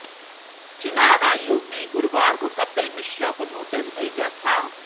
चुनाव आयोग ने गुरुवार को कपिल मिश्रा को नोटिस भेजा था